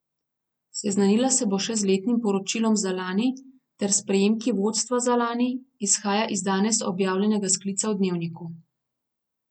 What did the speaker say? Seznanila se bo še z letim poročilom za lani ter s prejemki vodstva za lani, izhaja iz danes objavljenega sklica v Dnevniku.